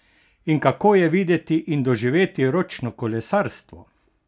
In kako je videti in doživeti ročno kolesarstvo?